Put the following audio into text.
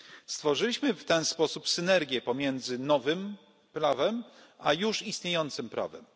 Stworzyliśmy w ten sposób synergię pomiędzy nowym prawem a już istniejącym prawem.